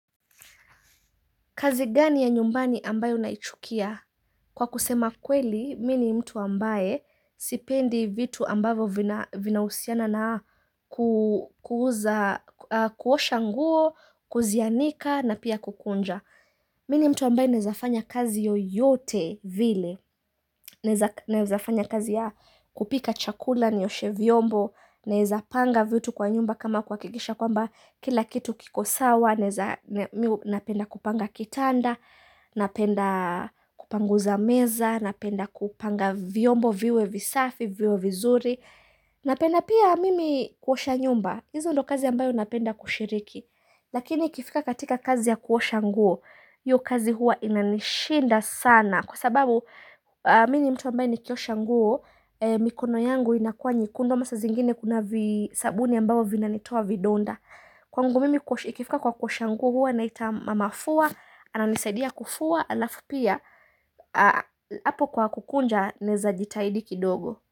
Kazi gani ya nyumbani ambayo naichukia? Kwa kusema kweli, mi ni mtu ambaye sipendi vitu ambavyo vina vinausiana na kuosha nguo, kuzianika na pia kukunja. Mini mtu ambaye naezafanya kazi yoyote vile. Naeza naezafanya kazi ya kupika chakula, nioshe vyombo. Naeza panga vitu kwa nyumba kama kwa kikisha kwamba Kila kitu kikosawa, napenda kupanga kitanda, napenda kupanguza meza, napenda kupanga vyombo viwe visafi, viwe vizuri Napenda pia mimi kuosha nyumba Izo ndo kazi ambayo napenda kushiriki Lakini ikifika katika kazi ya kuosha nguo hiyo kazi huwa inanishinda sana kwa sababu mi ni mtu ambaye nikiosha nguo mikono yangu inakua nyekundu ama sazingine kuna visabuni ambavo vinanitua vidonda, kwangu mimi ikifika kwa kuosha nguo huwa naita mamafua ananisaidia kufua alafu pia hapo kwa kukunja naeza jitahidi kidogo.